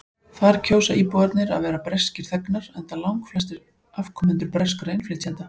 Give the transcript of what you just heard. þar kjósa íbúarnir að vera breskir þegnar enda langflestir afkomendur breskra innflytjenda